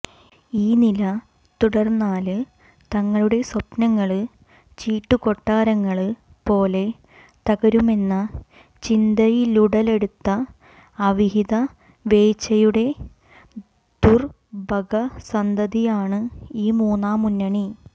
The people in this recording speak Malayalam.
ഈ നില തുടര്ന്നാല് തങ്ങളുടെ സ്വപ്നങ്ങള് ചീട്ടുകൊട്ടാരങ്ങള് പോലെ തകരുമെന്ന ചിന്തയിലുടലെടുത്ത അവിഹിതവേഴ്ചയുടെ ദുര്ഭഗസന്തതിയാണ് ഈ മൂന്നാം മുന്നണി